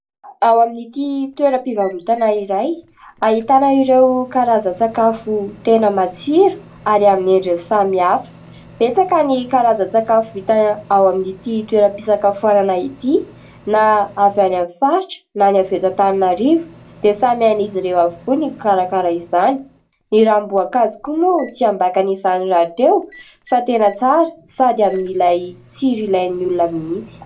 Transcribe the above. Ao amin'ity toeram-pivarotana iray ahitana ireo karazan-tsakafo tena matsiro ary amin'ny endriny samihafa. Betsaka ny karazan-tsakafo vita ao amin'ity toeram-pisakafoanana ity na avy any amin'ny faritra na ny avy eto Antananarivo dia samy hain'izy ireo avokoa ny mikarakara izany. Ny ranom-boankazo koa moa tsy ambakany izany rahateo fa tena tsara sady amin'ilay tsiro ilay ny olona mihitsy.